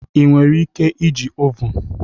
Ị nwere ike iji ovun?